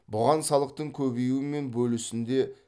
бұған салықтың көбеюі мен бөлісінде